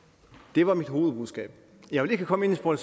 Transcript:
det var mit hovedbudskab jeg vil ikke komme ind på